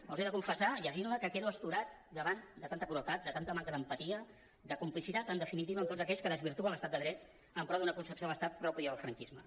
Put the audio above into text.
els he de confessar llegint la que quedo astorat davant de tanta crueltat de tanta manca d’empatia de complicitat en definitiva amb tots aquells que desvirtuen l’estat de dret en pro d’una concepció de l’estat pròpia del franquisme